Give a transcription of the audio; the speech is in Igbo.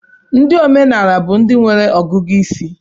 ndị omenkà bụ ndị nwere ọgụgụ isi